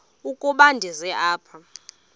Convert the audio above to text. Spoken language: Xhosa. ukuba ndize apha